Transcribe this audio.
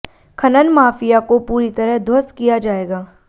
खनन माफिया को पूरी तरह ध्वस्त किया जाएगा